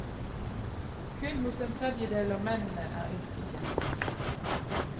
Kun hos en tredjedel av mennene er yrket kjent.